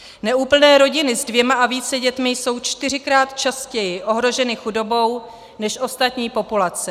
Neúplné rodiny s dvěma a více dětmi jsou čtyřikrát častěji ohroženy chudobou než ostatní populace.